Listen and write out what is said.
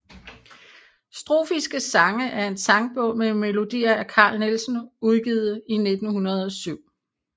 Strofiske Sange er en sangbog med melodier af Carl Nielsen udgivet 1907